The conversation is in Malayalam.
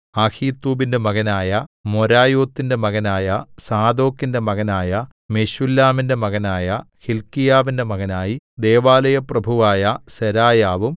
അഹീത്തൂബിന്റെ മകനായ മെരായോത്തിന്റെ മകനായ സാദോക്കിന്റെ മകനായ മെശുല്ലാമിന്റെ മകനായ ഹില്ക്കീയാവിന്റെ മകനായി ദൈവാലയപ്രഭുവായ സെരായാവും